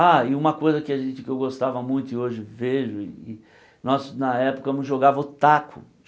Ah, e uma coisa que a gente que eu gostava muito e hoje vejo e e, nós na época jogava o taco.